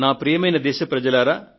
ప్రియమైన నా దేశ ప్రజలారా